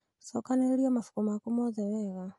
cokanĩrĩria mabuku maku mothe wega